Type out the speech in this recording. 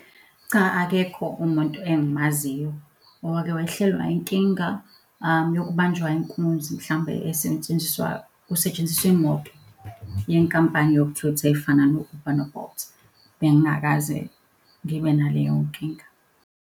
Cha, akekho umuntu engimaziyo owake wehlelwa inkinga, yokubanjwa inkunzi mhlawumbe esetshenziswa, kusetshenziswa imoto, yenkampani yokuthutha efana no-Uber no-Bolt. Bengingakaze ngibe naleyo nkinga.